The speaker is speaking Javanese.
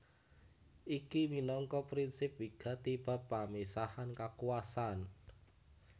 Iki minangka prinsip wigati bab pamisahan kakuwasan